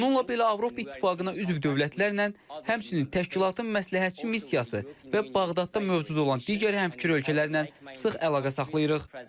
Bununla belə Avropa İttifaqına üzv dövlətlərlə, həmçinin təşkilatın məsləhətçi missiyası və Bağdadda mövcud olan digər həmfikir ölkələrlə sıx əlaqə saxlayırıq.